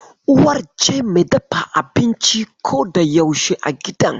Uwar ce mai dafa abinci ko da yaushe a gidan.